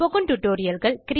spoken tutorialகள்